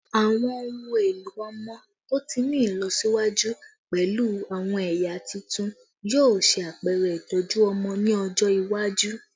Awọn ohun elo ọmọ to ti ni ilọsiwaju pẹlu awọn ẹya tuntun yoo ṣe apẹrẹ itọju ọmọ ni ọjọ iwaju